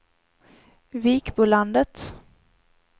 Vikbolandet